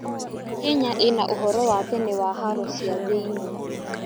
Kenya ĩna ũhoro wa tene wa haro cia thĩiniĩ.